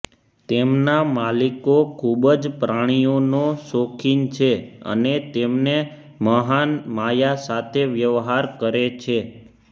તેમના માલિકો ખૂબ જ પ્રાણીઓનો શોખીન છે અને તેમને મહાન માયા સાથે વ્યવહાર કરે છે